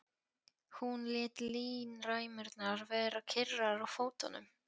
Hún lét línræmurnar vera kyrrar á fótunum.